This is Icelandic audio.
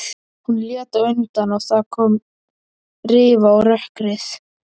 Hún lét undan og það kom rifa á rökkrið.